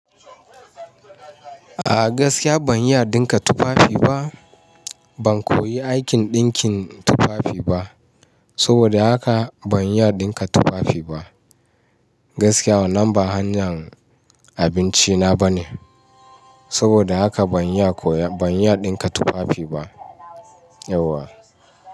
A gaskiya ban iya dinka tufafi ba. Ban koyi aikin ɗinkin tufafi ba, saboda haka ban iya dinka tufafi ba. Gaskiya wannan ba hanyar abinci na ba ne, saboda haka ban iya koya, ban iya dinka tufafi ba yauwa.